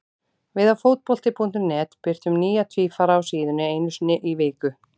Við á Fótbolti.net birtum nýja tvífara á síðunni einu sinni í viku.